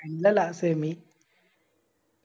പിന്നല്ല Semi